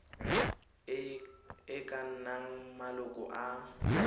e ka nnang maloko a